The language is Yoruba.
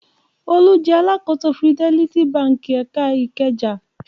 Olú jẹ alákòóso Fidelity Báńkì ẹ̀ka Ìkẹjà.